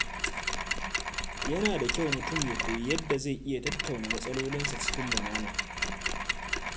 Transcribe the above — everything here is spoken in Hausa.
Yana da kyau mutum ya koyi yadda zai iya tattauna matsalolinsa cikin lumana.